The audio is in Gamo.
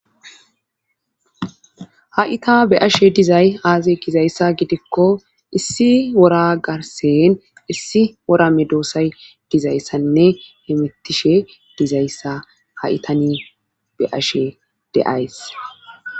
ha7i ta be7ashe dizay aazee gizayssa gidikko issi wora garsen issi worame doossay dizayssanne hemettishe dizayssa haitani be'ashe de7ays.